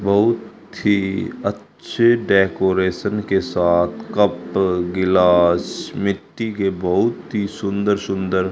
बहुत ही अच्छे डेकोरेशन के साथ कप गिलास मिट्टी के बहुत ही सुंदर सुंदर --